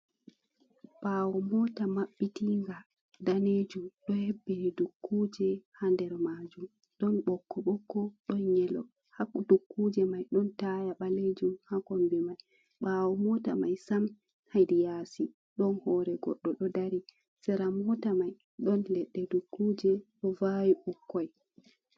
Ɓawo mota mabbitinga danejum do hebbini dukkuje ha nder majum, ɗon ɓokko-ɓokko ɗon yelo ha dukkuje mai don taya balejum ha kombi mai, bawo mota mai sam hédi yasi don hore goɗɗo ɗo ɗari sera mota mai ɗon leddé dukkuje do vawi ɓukkoi.